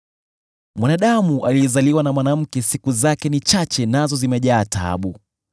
“Mwanadamu aliyezaliwa na mwanamke siku zake ni chache nazo zimejaa taabu.